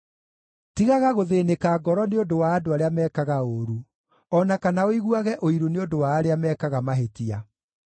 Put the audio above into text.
Tigaga gũthĩĩnĩka ngoro nĩ ũndũ wa andũ arĩa mekaga ũũru, o na kana ũiguage ũiru nĩ ũndũ wa arĩa mekaga mahĩtia;